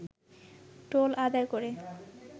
toll আদায় করে